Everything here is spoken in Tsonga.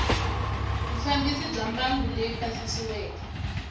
vufambisi bya mbangu leyi pasisiweke